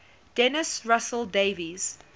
dennis russell davies